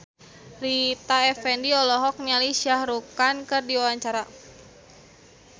Rita Effendy olohok ningali Shah Rukh Khan keur diwawancara